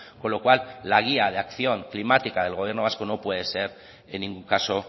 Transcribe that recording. con lo cual la guía de acción climática del gobierno vasco no puede ser en ningún caso